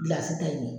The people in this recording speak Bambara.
Gilasi ta in